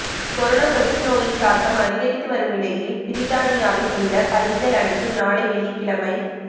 corona தொற்று நோயின் தாக்கம் அதிகரித்து வரும் நிலையில் பிரித்தானியாவில் உள்ள பள்ளிகள் அனைத்தும் நாளை வெள்ளிக்கிழமை